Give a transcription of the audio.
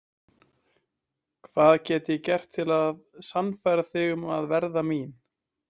Hvað get ég gert til að sannfæra þig um að verða mín?